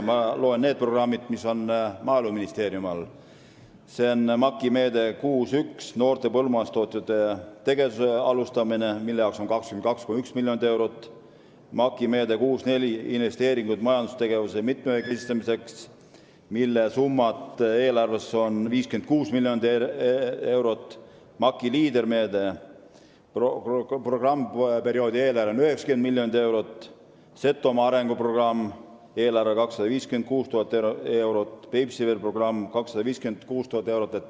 Ma loen ette need programmid, mis on Maaeluministeeriumi all: MAK-i meede 6.1 "Noorte põllumajandustootjate tegevuse alustamine", mille jaoks on ette nähtud 22,1 miljonit eurot; MAK-i meede 6.4 "Investeeringud majandustegevuse mitmekesistamiseks", mille jaoks on eelarves 56 miljonit eurot; MAK-i Leader-meede, programmperioodi eelarve on 90 miljonit eurot; Setomaa arenguprogramm eelarvega 256 000 eurot; Peipsiveere arenguprogramm, milleks on 256 000 eurot.